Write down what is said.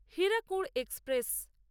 Hirakud express